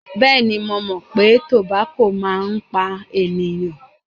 Bẹẹni, mo mọ̀ pé tobako máa ń pa ènìyàn.